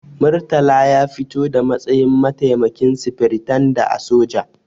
Murtala ya fito da matsayin mataimakin sufiritanda a soja.